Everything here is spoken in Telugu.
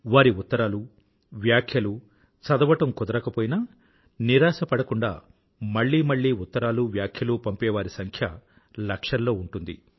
వారి ఉత్తరాలు వ్యాఖ్యలు చదవడం కుదరకపోయినా నిరాశ పడకుండా మళ్ళీ మళ్ళీ ఉత్తరాలువ్యాఖ్యలు పంపేవారి సంఖ్య లక్షల్లో ఉంటుంది